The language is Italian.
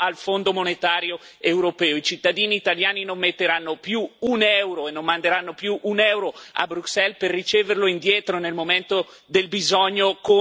I cittadini italiani non metteranno più un euro e non manderanno più un euro a Bruxelles per riceverlo indietro nel momento del bisogno con delle condizionalità imposte.